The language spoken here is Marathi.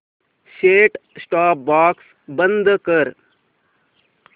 सेट टॉप बॉक्स बंद कर